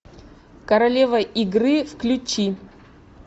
королева игры включи